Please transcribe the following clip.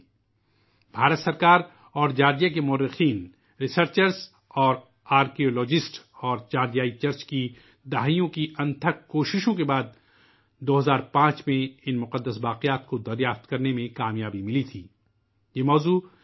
حکومت ہند اور جارجیا کے مؤرخین ، محققین، ماہرین آثار قدیمہ اور جارجیا کی چرچ کی دہائیوں کی انتھک کوششوں کے بعد 2005 میں باقیات کو کامیابی کے ساتھ ڈھونڈھ لیا گیا